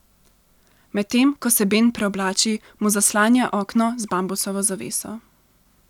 Medtem ko se Ben preoblači, mu zaslanja okno z bambusovo zaveso.